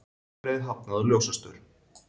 Bifreið hafnaði á ljósastaur